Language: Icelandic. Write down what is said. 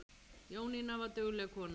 Jónína var dugleg kona.